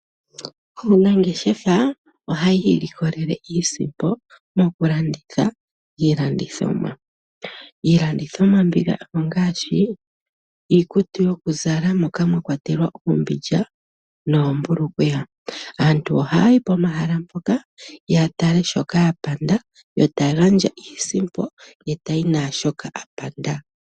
Aanangeshefa ohaya ilikolele iisimpo mokulanditha iilandithomwa. Iilandithomwa mbika ongaashi iikutu yokuzala moka mwa kwatelwa oombindja noombulukweya. Aantu ohaya yi pomahala mpoka ya tale shoka ya panda yo taya gandja iisimpo ye tayi naashoka a panda.